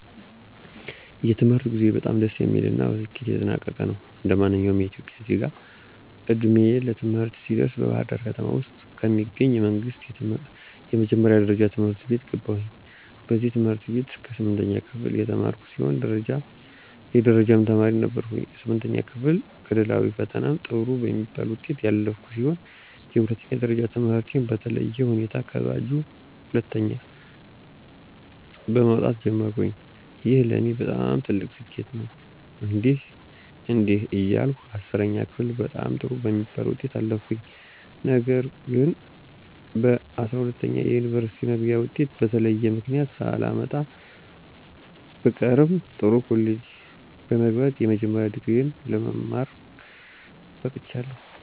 የትምህርት ጉዞዬ በጣም ደስ የሚል እና በስኬት የተጠናቀቀ ነው። እንደማንኛውም ኢትዮጵያዊ ዜጋ ዕድሜዬ ለትምህርት ሲደርስ በባህርዳር ከተማ ውስጥ ከሚገኙ የመንግስት የመጀመሪያ ደረጃ ትምህርት ቤት ገባሁኝ። በዚህ ትምህርት ቤት እስከ ስምንተኛ ክፍል የተማርኩ ሲሆን የደረጃ ተማሪም ነበርኩኝ። ስምንተኛ ክፍል ክልላዊ ፈተናም ጥሩ በሚባል ውጤት ያለፍኩ ሲሆን የሁለተኛ ደረጃ ትምህርቴን በተለየ ሁኔታ ከባጁ ሁለተኛ በመወጣት ጀመርኩኝ። ይህ ለኔ በጣም ትልቅ ስኬት ነበር። እንዲህ እንዲያ እያልኩ 10ኛ ክፍልም በጣም ጥሩ በሚባል ውጤት አለፍኩኝ። ነገር ግንጰ12ኛ የዩኒቨርስቲ መግቢያ ወጤት በተለያየ ምክንያት ሳላመጣ ብቀርም ጥሩ ኮሌጅ በመግባት የመጀመሪያ ዲግሪየ ለመማረክ በቅቻለሁ።